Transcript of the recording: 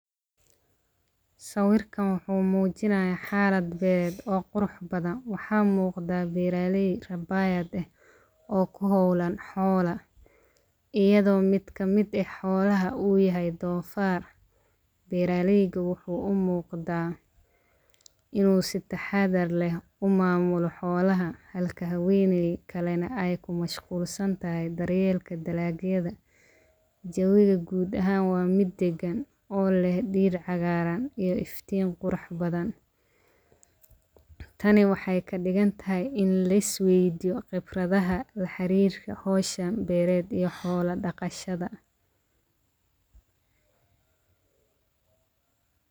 Sawirkan waxuu muujinaya xaalad beer oo qurux badan. Waxaa muqda beeraley rabaayad eh oo ku hawlan xoola iyado mid kamid eh u yahay doofar beeraleyda waxuu u muqda inu si taxadar leh u maamulo xoolaha halka habeenay kale ne ay ku mashquulsanatahy daryeelka dalagyada. Jawiga guud ahaan waa mid dagan oo leh dhir cagaaran iyo iftiin qurux badan. Tani waxay ka digantahay in la is waydiyo qibradaha laxarirka hawshan beered ee xoola dhaqashada.